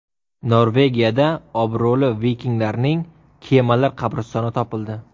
Norvegiyada obro‘li vikinglarning kemalar qabristoni topildi .